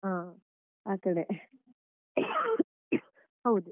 ಹ ಆ ಕಡೆ ಹೌದು.